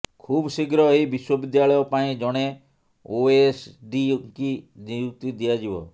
ଖୁବ୍ ଶୀଘ୍ର ଏହି ବିଶ୍ୱବିଦ୍ୟାଳୟ ପାଇଁ ଜଣେ ଓଏସ୍ଡିଙ୍କୁ ନିଯୁକ୍ତି ଦିଆଯିବ